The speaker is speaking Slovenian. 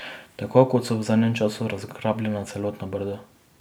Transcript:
Tako kot so v zadnjem času razgrabljena celotna Brda.